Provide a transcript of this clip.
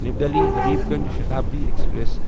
نیو Delhi Habibganj Shatabdi express